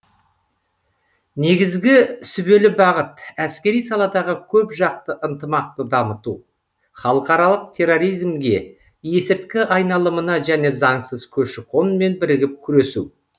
негізгі сүбелі бағыт әскери саладағы көпжақты ынтымақты дамыту халықаралық терроризмге есірткі айналымына және заңсыз көші қонмен бірігіп күресу